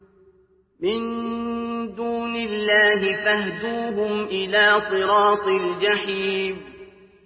مِن دُونِ اللَّهِ فَاهْدُوهُمْ إِلَىٰ صِرَاطِ الْجَحِيمِ